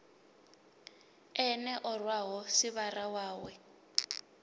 ene o rwaho sivhara wawe